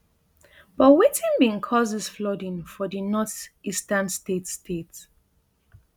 but wetin bin cause dis flooding for di northeastern state state